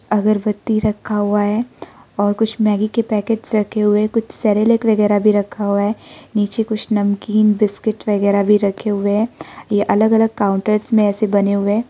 अगरबत्ती रखा हुआ है और कुछ मैगी के पैकेटस रखे हुए हैं कुछ सेरेलक वगैरा रखा हुआ है नीचे कुछ नमकीन बिस्किट वगैरा भी रखे हुए हैं यह अलग अलग काउंटर्स में ऐसे बने हुए हैं।